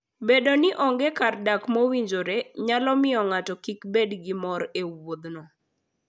Bedo ni onge kar dak mowinjore nyalo miyo ng'ato kik bed gi mor e wuodhno.